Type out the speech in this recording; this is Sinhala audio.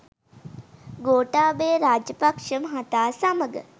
ගෝඨාභය රාපක්ෂ මහතා සමග